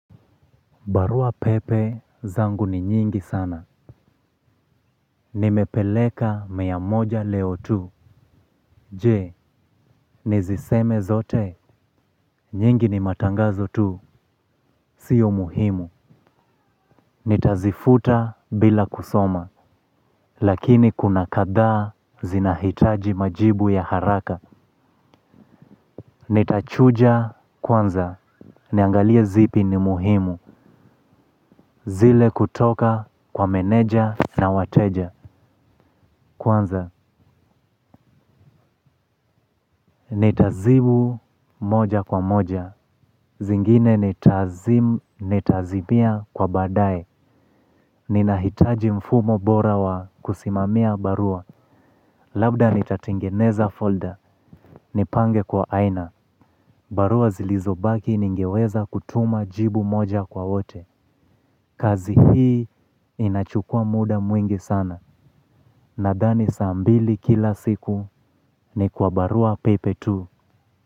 Barua pepe zangu ni nyingi sana. Nimepeleka mia moja leo tu. Je, niziseme zote? Nyingi ni matangazo tu, sio muhimu. Nitazifuta bila kusoma. Lakini kuna kadhaa zinahitaji majibu ya haraka. Nitachuja kwanza. Niangalie zipi ni muhimu. Zile kutoka kwa meneja na wateja. Kwanza ni tazimu moja kwa moja. Zingine nitazimia kwa badae. Ni nahitaji mfumo bora wa kusimamia barua. Labda nitatengeneza folder. Ni pange kwa aina. Barua zilizo baki ningeweza kutuma jibu moja kwa wote. Kazi hii inachukua muda mwingi sana. Nadhani saa mbili kila siku ni kwa barua pepe tu.